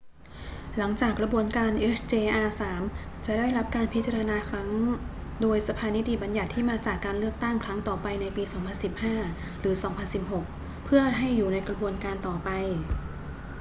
หลังจากกระบวนการ hjr-3 จะได้รับการพิจารณาครั้งโดยสภานิติบัญญัติที่มาจากการเลือกตั้งครั้งต่อไปในปี 2015 หรือ 2016 เพื่อให้อยู่ในกระบวนการต่อไป